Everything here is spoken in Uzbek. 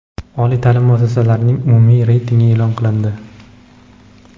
Oliy taʼlim muassasalarining umumiy reytingi e’lon qilindi.